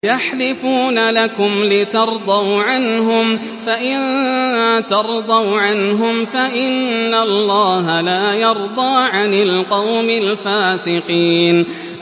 يَحْلِفُونَ لَكُمْ لِتَرْضَوْا عَنْهُمْ ۖ فَإِن تَرْضَوْا عَنْهُمْ فَإِنَّ اللَّهَ لَا يَرْضَىٰ عَنِ الْقَوْمِ الْفَاسِقِينَ